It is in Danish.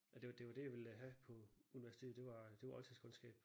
Og det det var det jeg ville have på universitetet det var det var oldtidskundskab